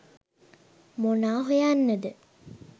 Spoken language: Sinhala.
මොනා හොයන්නද